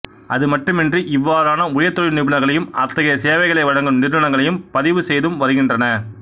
அது மட்டுமன்றி இவ்வாறான உயர்தொழில் நிபுணர்களையும் அத்தகைய சேவைகளை வழங்கும் நிறுவனங்களையும் பதிவு செய்தும் வருகின்றன